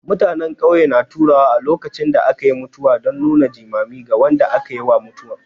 Mutanen ƙauye na taruwa a lokacin da aka yi mutuwa don nuna jimami ga wanda aka yi ma mutuwa.